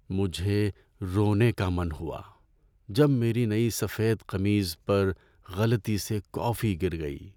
مجھے رونے کا من ہوا جب میری نئی سفید قمیص پر غلطی سے کافی گر گئی۔